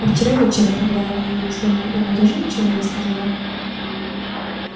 а вчера вечером когда вы явились домой она тоже ничего не сказала